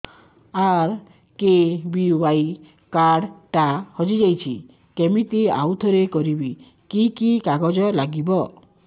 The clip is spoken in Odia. ଆର୍.କେ.ବି.ୱାଇ କାର୍ଡ ଟା ହଜିଯାଇଛି କିମିତି ଆଉଥରେ କରିବି କି କି କାଗଜ ଲାଗିବ